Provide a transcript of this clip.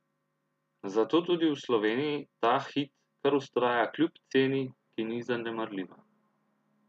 Zato tudi v Sloveniji ta hit kar vztraja kljub ceni, ki ni zanemarljiva.